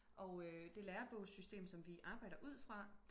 og øh det lærerbogssystem som vi arbejder ud fra